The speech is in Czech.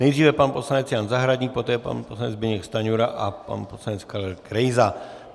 Nejdříve pan poslanec Jan Zahradník, poté pan poslanec Zbyněk Stanjura a pan poslanec Karel Krejza.